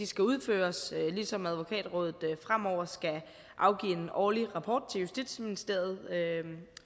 skal udføres ligesom advokatrådet fremover skal afgive en årlig rapport til justitsministeriet